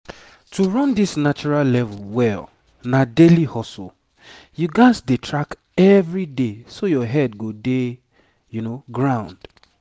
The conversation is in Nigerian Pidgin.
to run this natural level well na daily hustle you gats dey track everyday so your head go dey ground.